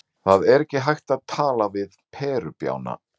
Það er ekki hægt að tala við þessa perubjána.